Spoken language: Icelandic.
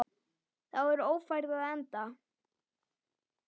Þá er Ófærð á enda.